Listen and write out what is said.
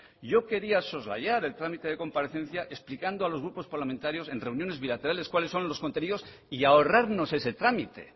yo quería soslayar el trámite de comparecencia explicando a los grupos parlamentarios en reuniones bilaterales cuáles son los contenidos y ahorrarnos ese trámite